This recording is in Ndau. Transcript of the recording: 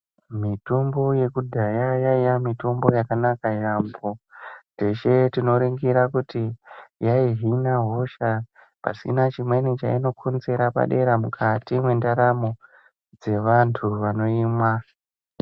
Mitombo yakudhaya yaiya mitombo yakanaka yaamho. Teshe tinoningira kuti yaihina hosha pasina chimweni chainokonzera padera mukati mendaramo dzevantu vanoimwa.